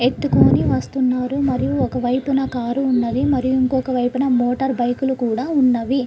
ఎత్తుకొని వస్తున్నారు మరియు ఒకవైపున కారు ఉన్నది. మరి ఇంకొక వైపున మోటార్ బైకులు కూడా ఉన్నవి.